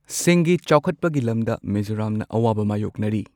ꯁꯤꯡꯒꯤ ꯆꯥꯎꯈꯠꯄꯒꯤ ꯂꯝꯗ ꯃꯤꯖꯣꯔꯥꯝꯅ ꯑꯋꯥꯕ ꯃꯥꯌꯣꯛꯅꯔꯤ꯫